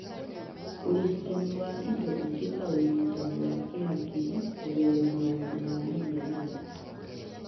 Ũrigitani wa indo ingĩ ta ũrigitani wa kĩhakiri kũgerera maũndũ ma mĩhianano